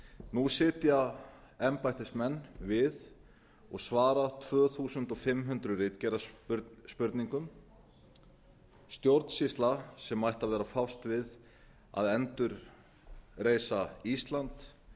nú sitja embættismenn við og svara tvö þúsund fimm hundruð ritgerðarspurningum stjórnsýsla sem ætti að vera að fást við að endurreisa ísland